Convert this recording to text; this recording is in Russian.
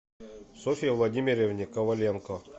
софье владимировне коваленко